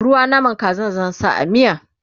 ruwan naman Kazan zan sa a miya